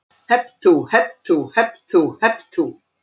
Hep tú, hep tú, hep tú, hep tú.